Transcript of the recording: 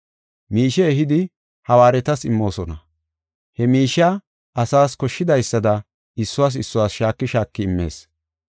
Miishe ehidi hawaaretas immoosona; he miishiya asaas koshshidaysada issuwas issuwas shaaki shaaki immees.